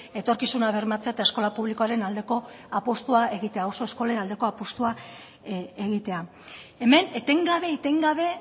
etorkizuna bermatzea eta eskola publikoaren aldeko apustua egitea oso eskolen apustua egitea hemen etengabe etengabe